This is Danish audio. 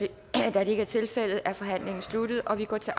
da det ikke er tilfældet er forhandlingen sluttet og vi går til